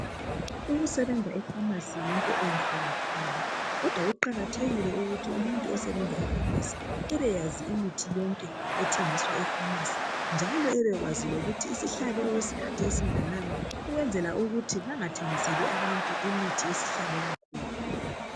Ukusebenza efamasi yinto enhle kakhulu kodwa kuqakathekile ukuthi osebenza khona abekwazi yonke imithi. Kumele akwazi lokuthi isihlale isikhathi esinganani ukuze bangathengiseli abantu imithi esihlale kakhulu.